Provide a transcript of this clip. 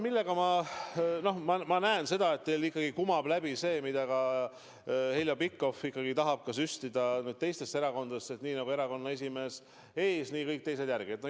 No ma näen seda, et teil ikkagi kumab läbi see, mida Heljo Pikhofki tahab süstida ka teistesse erakondadesse: nii nagu erakonna esimees ees, nii teised järel.